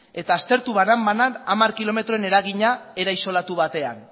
eta aztertu banan banan hamar kilometroen eragina era isolatu batean